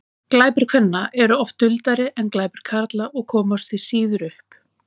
glæpir kvenna séu oft duldari en glæpir karla og komast því síður upp